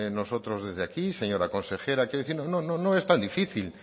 nosotros desde aquí señora consejera quiero decir no es tan difícil